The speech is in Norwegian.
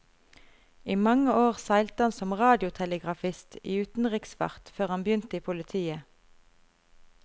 I mange år seilte han som radiotelegrafist i utenriksfart før han begynte i politiet.